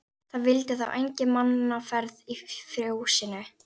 Það vildi þá enga mannaferð í fjósinu.